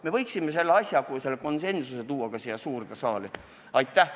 Me võiksime selle konsensuse tuua ka siia suurde saali.